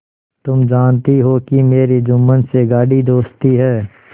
तुम जानती हो कि मेरी जुम्मन से गाढ़ी दोस्ती है